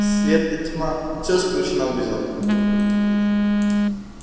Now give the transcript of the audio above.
свет и тьма все скручено в узел